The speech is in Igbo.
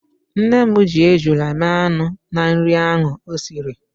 Nne m ji ejula mee anụ na nri ahụ o siri.